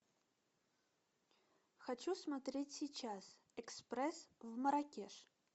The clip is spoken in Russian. хочу смотреть сейчас экспресс в марракеш